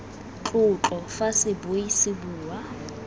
tlotlo fa sebui se bua